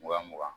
Wa mugan